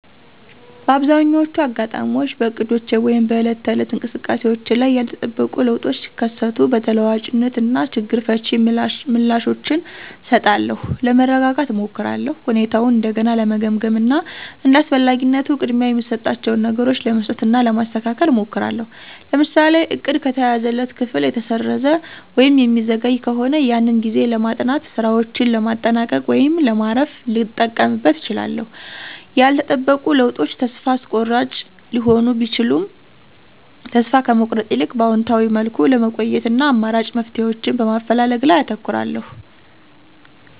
በአብዛኛዎቹ አጋጣሚዎች በእቅዶቼ ወይም በዕለት ተዕለት እንቅስቃሴዎቼ ላይ ያልተጠበቁ ለውጦች ሲከሰቱ በተለዋዋጭነት እና ችግር ፈቺ ምላሾችን እሰጣለሁ። ለመረጋጋት እሞክራለሁ፣ ሁኔታውን እንደገና ለመገምገም እና እንደ አስፈላጊነቱ ቅድሚያ የምሰጣቸውን ነገሮች ለመስጠት እና ለማስተካከል እሞክራለሁ። ለምሳሌ:- እቅድ ከተያዘለት ክፍል ከተሰረዘ ወይም የሚዘገይ ከሆነ ያንን ጊዜ ለማጥናት፣ ሥራዎችን ለማጠናቀቅ ወይም ለማረፍ ልጠቀምበት እችላለሁ። ያልተጠበቁ ለውጦች ተስፋ አስቆራጭ ሊሆኑ ቢችሉም ተስፋ ከመቁረጥ ይልቅ በአዎንታዊ መልኩ ለመቆየት እና አማራጭ መፍትሄዎችን በማፈላለግ ላይ አተኩራለሁ።